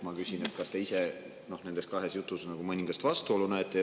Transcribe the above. Ma küsin, kas te ise nendes kahes jutus mõningast vastuolu näete.